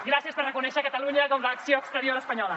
gràcies per reconèixer catalunya com l’acció exterior espanyola